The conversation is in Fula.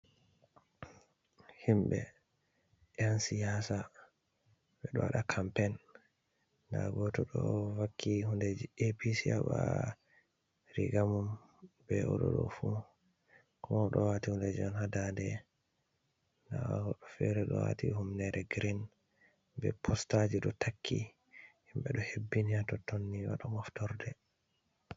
Himbe yan siyasa. Be ɗo waɗa kampein. Ɗa goto ɗo vakki hunɗeji A.P.C ba rigamum be oɗo ɗo fu. Ko oɗo wati hunɗeji on ha ɗaɗe. Ɗa wobbe fere ɗo wati humnere gireen, be postaji ɗo takki. Himbe ɗo hebbinia tottonni waɗo moftorɗe.